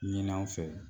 Ɲin'an fɛ